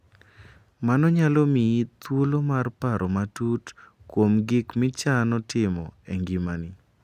Mano nyalo miyi thuolo mar paro matut kuom gik michano timo e ngimani.